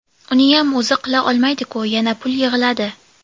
Uniyam o‘zi qila olmaydiku, yana pul yig‘iladi.